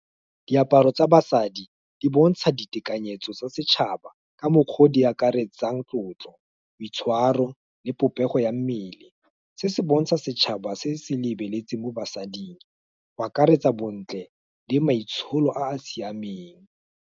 Diaparo tsa basadi, di bontsha ditekanyetso tsa setšhaba, ka mokgwa o di akaretsang tlotlo, boitshwaro, le popego ya mmele, se se bontsha setšhaba se se lebeletseng mo basading, go akaretsa bontle, le maitsholo a a siameng.